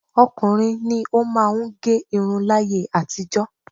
Ọkùnrin ni ó máà ń gẹ irun láyé àtijọ́.